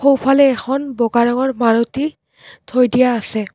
সোঁফালে এখন বগা ৰঙৰ মাৰুতি থৈ দিয়া আছে।